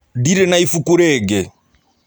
Ndirĩ na ibuku rĩngĩ.